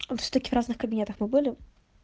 вот в таких разных кабинетах мы были